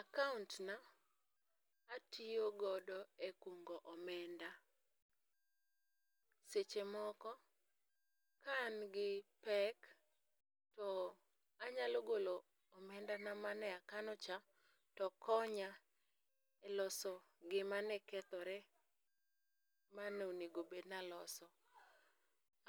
Akaontna, atiyogodo e kungo omenda. Seche moko ka an gi pek, to anyalo golo omendana ma ne akanocha, to konya loso gima ne kethore ma ne onego bed naloso.